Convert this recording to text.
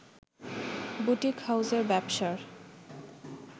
boutique হাউসের ব্যবসার